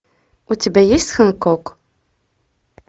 у тебя есть хэнкок